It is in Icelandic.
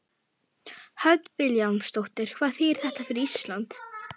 Hödd Vilhjálmsdóttir: Hvað þýðir þetta fyrir Ísland?